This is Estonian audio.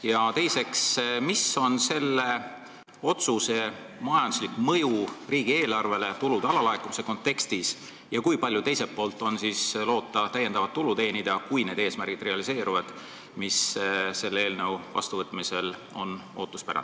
Ja teiseks, milline on selle otsuse majanduslik mõju riigieelarvele tulude alalaekumise kontekstis ja kui palju teiselt poolt on alust loota täiendavat tulu teenida, kui realiseeruvad selles eelnõus seatud eesmärgid?